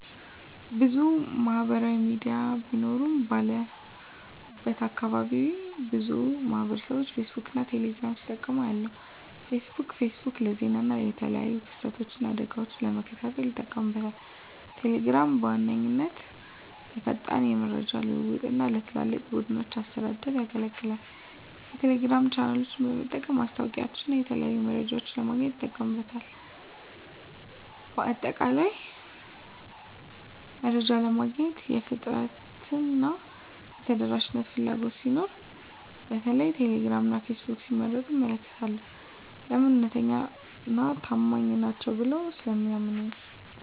**ብዙ ማህበራዊ ሚዲያ ቢኖሩም፦ ባለሁበት አካባቢ ብዙ ማህበረሰብቦች ፌስቡክን እና ቴሌ ግራምን ሲጠቀሙ አያለሁ፤ * ፌስቡክ: ፌስቡክ ለዜና እና የተለያዩ ክስተቶችን እና አደጋወችን ለመከታተል ይጠቀሙበታል። * ቴሌግራም: ቴሌግራም በዋነኛነት ለፈጣን የመረጃ ልውውጥ እና ለትላልቅ ቡድኖች አስተዳደር ያገለግላል። የቴሌግራም ቻናሎችን በመጠቀም ማስታወቂያወችንና የተለያዩ መረጃዎችን ለማግኘት ይጠቀሙበታል። በአጠቃላይ፣ መረጃ ለማግኘት የፍጥነትና የተደራሽነት ፍላጎት ሲኖር በተለይም ቴሌግራም እና ፌስቡክን ሲመርጡ እመለከታለሁ። *ለምን? እውነተኛና ታማኝ ናቸው ብለው ስለሚያምኑ።